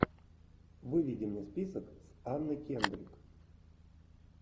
выведи мне список с анной кендрик